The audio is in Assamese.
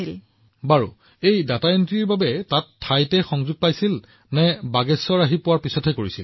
প্ৰধানমন্ত্ৰীঃ আচ্ছা তেওঁ ডাটা এণ্ট্ৰি তেওঁ তাত সংযোগ পাইছিল নে বাগেশ্বৰলৈ অহাৰ পিছত এইটো কৰিছিল